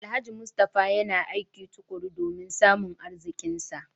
Alhaji Mustapha yana aiki tukuru domin samun arzikinsa